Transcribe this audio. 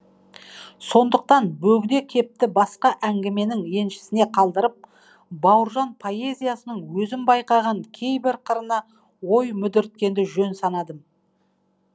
сондықтан бөгде кепті басқа әңгіменің еншісіне қалдырып бауыржан поэзиясының өзім байқаған кейбір қырына ой мүдірткенді жөн санадым